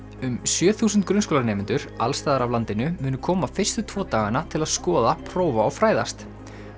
um sjö þúsund grunnskólanemendur alls staðar af landinu munu koma fyrstu tvo dagana til að skoða prófa og fræðast